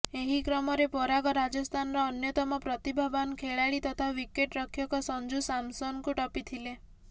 ଏହି କ୍ରମରେ ପରାଗ ରାଜସ୍ଥାନର ଅନ୍ୟତମ ପ୍ରତିଭାବାନ ଖେଳାଳି ତଥା ୱିକେଟ୍ ରକ୍ଷକ ସଞ୍ଜୁ ସାମସନଙ୍କୁ ଟପିଥିଲେ